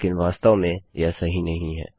लेकिन वास्तव में यह सही नहीं है